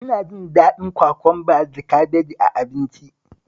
Ina jin daɗin kwakwamba da kabeji a abinci